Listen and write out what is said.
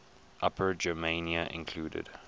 upper germania included